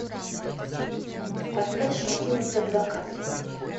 поставь мадину садвакасову